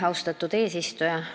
Austatud eesistuja!